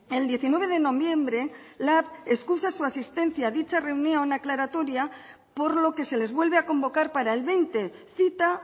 el diecinueve de noviembre lab excusa su asistencia a dicha reunión aclaratoria por lo que se les vuelve a convocar para el veinte cita